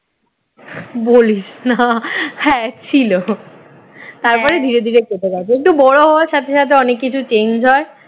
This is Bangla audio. বলিস না হ্যাঁ ছিল তারপরে ধীরে ধীরে কেটে গেছে একটু বড় হওয়ার সাথে সাথে অনেক কিছু change হয়